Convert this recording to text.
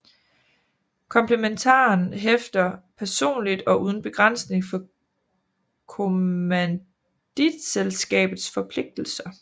Komplementaren hæfter personligt og uden begrænsning for kommanditselskabets forpligtelser